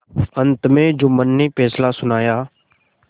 अंत में जुम्मन ने फैसला सुनाया